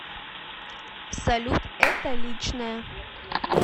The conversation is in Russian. салют это личное